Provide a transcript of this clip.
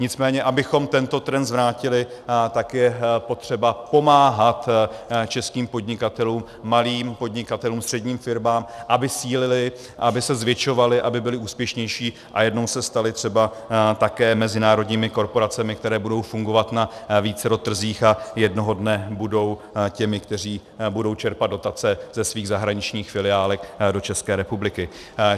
Nicméně abychom tento trend zvrátili, tak je potřeba pomáhat českým podnikatelům, malým podnikatelům, středním firmám, aby sílili, aby se zvětšovali, aby byli úspěšnější a jednou se stali třeba také mezinárodními korporacemi, které budou fungovat na vícero trzích a jednoho dne budou těmi, kteří budou čerpat dotace ze svých zahraničních filiálek do České republiky.